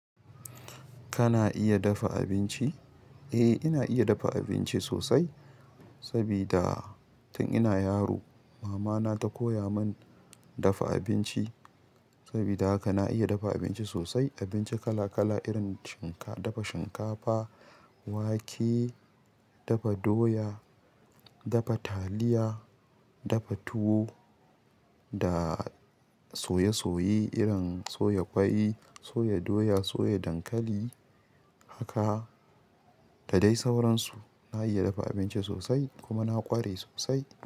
Kana iya dafa abinci? Eh, ina iya dafa abinci sosai sabida tun ina yaro mama na ta koya mun dafa abinci. Sabida haka na iya dafa abinci sosai, abinci kala kala irin shinka, dafa shinkafa, wake, dafa doya, dafa taliya, dafa tuwo da soye-soye irin soya ƙwai, soya doya, soya dankali haka da dai sauran su. Na iya dafa abinci sosai kuma na ƙware sosai.